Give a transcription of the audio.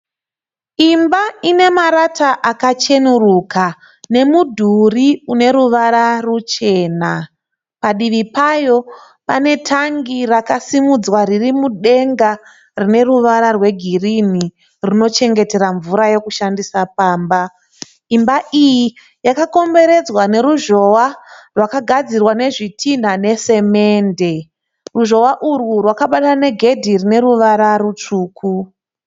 Imba inemarata akacheneruka nemudhuri uneruvara ruchena. Padivi payo pane tangi rakasimudzwa ririmudenga rineruvara rwegirini rinochengetera mvura yekushandisa pamba. Imba iyi yakakomberedzwa neruzhowa rwakagadzirwa nezvitina ne semende. Ruzhowa urwu rwakabatana negedhe rineruvara rutsvuku.